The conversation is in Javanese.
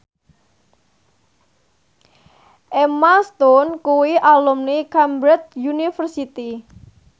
Emma Stone kuwi alumni Cambridge University